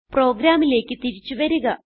പ്രോഗ്രാമിലേക്ക് തിരിച്ചു വരിക